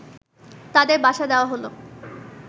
তাদের বাসা দেওয়া হল